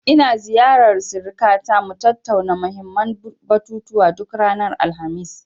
In ziyarar sirikata, mu tattauna muhimmin batutuwa, duk ranar Alhamis.